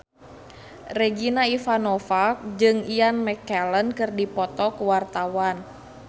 Regina Ivanova jeung Ian McKellen keur dipoto ku wartawan